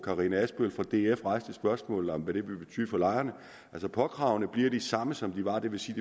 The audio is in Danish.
karina adsbøl fra df der rejste spørgsmålet om hvad det ville betyde for lejerne påkravene bliver de samme som de var det vil sige